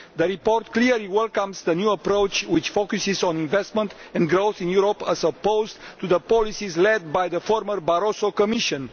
The report clearly welcomes the new approach, which focuses on investment and growth in Europe, as opposed to the policies led by the former Barroso Commission.